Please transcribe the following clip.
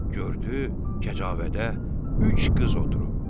Gördü kəcavədə üç qız oturub.